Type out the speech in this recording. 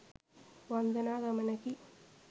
වන්දනා ගමනකි